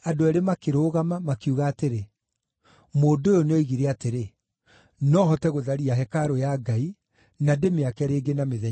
makiuga atĩrĩ, “Mũndũ ũyũ nĩoigire atĩrĩ, ‘No hote gũtharia hekarũ ya Ngai, na ndĩmĩake rĩngĩ na mĩthenya ĩtatũ.’ ”